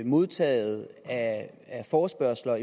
modtaget af forespørgsler